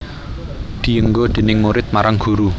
Dienggo déning murid marang guru